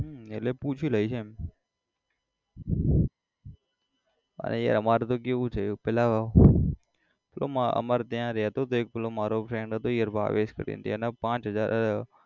હમ એટલે પૂછી લઈશ એમ અરે યાર અમારે તો કેવું છે પેલા પેલો અમાર ત્યાં રહેતો હતો એક પેલો મારો friend હતો યાર ભાવેશ કરીને તો એના પાંચ હજાર